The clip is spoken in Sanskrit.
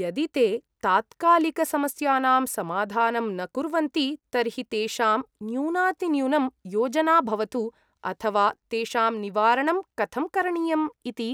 यदि ते तात्कालिकसमस्यानां समाधानं न कुर्वन्ति तर्हि तेषां न्यूनातिन्यूनं योजना भवतु अथ वा तेषां निवारणं कथं करणीयम् इति